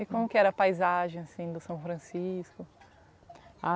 E como que era a paisagem, assim, do São Francisco?